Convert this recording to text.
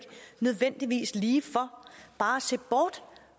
nødvendigvis ligefor bare at se bort